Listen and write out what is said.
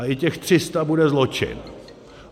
A i těch 300 bude zločin.